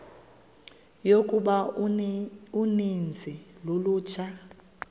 yokuba uninzi lolutsha